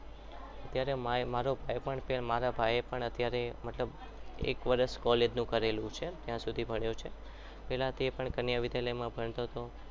અત્યારે મારો ભાઈ પણ મારા ભાઈને અત્યારે મતલબ એક વર્ષ college નું કરેલું છે ત્યાં સુધી ભણ્યો છે પહેલા તે પણ કન્યા વિદ્યાલયમાં ભણતો હતો